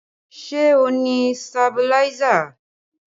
Ṣé o ni sabiláísà?